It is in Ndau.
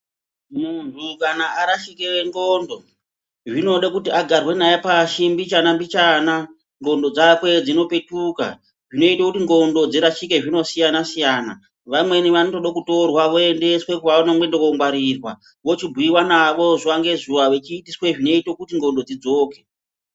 Munhu kana arashike ndxondo, zvinode kuti agarwe naye pashi mbichana mbichana ndxondo dzake dzipetuke. Zvinoito kuti ndxondo dzake dzirashike zvinosiyana siyana. Vamweni vanotodo kutorwa voendweswe kwavanomboende kongwarirwa. Vochibhuyiwa navo zuva ngezuva vechiitiswe zvinoito kuti ndxondo dzidzoke.